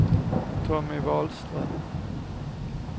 Tommy Wahlström